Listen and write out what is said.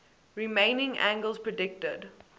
remaining angels predicted